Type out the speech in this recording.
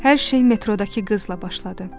Hər şey metroda ki qızla başladı.